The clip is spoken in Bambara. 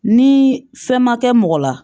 Ni fɛn ma kɛ mɔgɔ la